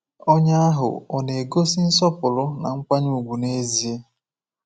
Onye ahụ ọ̀ na-egosi nsọpụrụ na nkwanye ùgwù n’ezie?